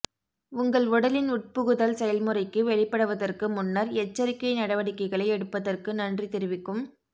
உங்கள் உடலின் உட்புகுதல் செயல்முறைக்கு வெளிப்படுவதற்கு முன்னர் எச்சரிக்கை நடவடிக்கைகளை எடுப்பதற்கு நன்றி தெரிவிக்கும்